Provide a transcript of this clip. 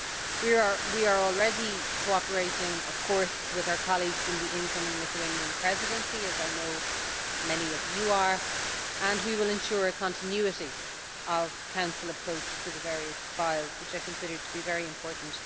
We are already cooperating with our colleagues from the incoming Lithuanian Presidency, as I know many of you are, and we will ensure a continuity of Council approach to the various files, which I consider to be very important.